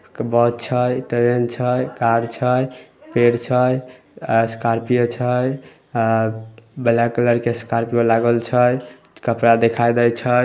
बस छै ट्रेन छै कार छै पेड़ छै स्कार्पियो छै ब्लैक कलर के स्कार्पियो लागल छै कपड़ा दिखाय दे छै।